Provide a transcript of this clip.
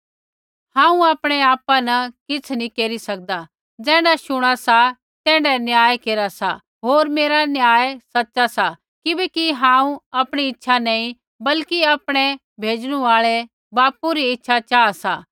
हांऊँ आपणै आपा न किछ़ नी केरी सकदा ज़ैण्ढा शूणा सा तैण्ढा न्याय केरा सा होर मेरा न्याय सच़ा सा किबैकि हांऊँ आपणी इच्छा नैंई बल्कि आपणै भेजणु आल़ै बापू री इच्छा चाहा सा